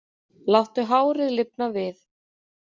Láttu hárið lifna við